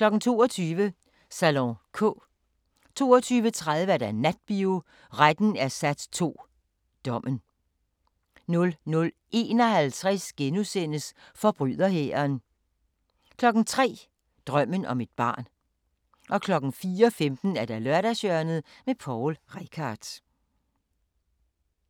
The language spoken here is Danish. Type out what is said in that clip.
22:00: Salon K 22:30: Natbio: Retten er sat II: Dommen 00:51: Forbryderhæren * 03:00: Drømmen om et barn 04:15: Lørdagshjørnet – Poul Reichhardt